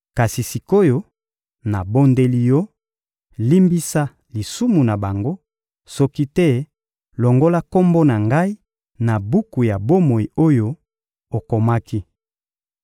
Kasi sik’oyo, nabondeli Yo, limbisa lisumu na bango, soki te longola kombo na ngai na buku ya bomoi oyo okomaki.